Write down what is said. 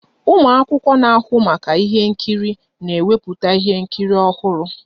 Ụmụ akwụkwọ na-ahụ maka ihe nkiri na-ewepụta ihe nkiri ọhụrụ